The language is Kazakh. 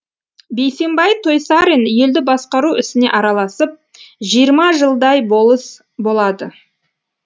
бейсенбай тойсарин елді басқару ісіне араласып жиырма жылдай болыс болады